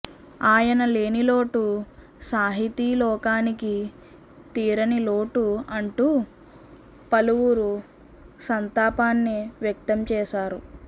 ఆయన లేని లోటు సాహితీ లోకానికి తీరనిలోటు అంటూ పలువురు సంతాపాన్ని వ్యక్తం చేశారు